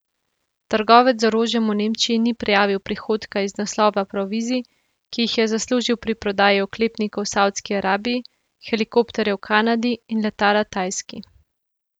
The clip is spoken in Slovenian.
Trgovec z orožjem v Nemčiji ni prijavil prihodka iz naslova provizij, ki jih je zaslužil pri prodaji oklepnikov Savdski Arabiji, helikopterjev Kanadi in letala Tajski.